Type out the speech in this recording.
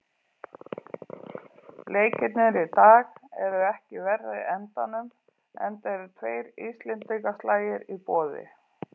Leikirnir í dag eru ekki af verri endanum, enda eru tveir íslendingaslagir í boði.